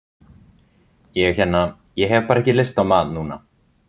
Ég hérna. ég hef bara ekki lyst á mat núna.